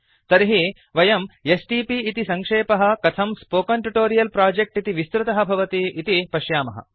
तर्हि वयं एसटीपी इति सङ्क्षेपः कथं स्पोकेन ट्यूटोरियल् प्रोजेक्ट् इति विस्तृतः भवति इति पश्यामः